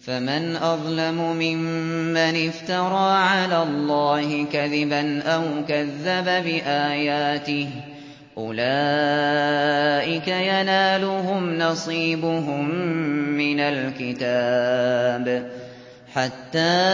فَمَنْ أَظْلَمُ مِمَّنِ افْتَرَىٰ عَلَى اللَّهِ كَذِبًا أَوْ كَذَّبَ بِآيَاتِهِ ۚ أُولَٰئِكَ يَنَالُهُمْ نَصِيبُهُم مِّنَ الْكِتَابِ ۖ حَتَّىٰ